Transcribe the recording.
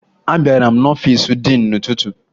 Abara m n'ọfiisi diin n'ụtụtụ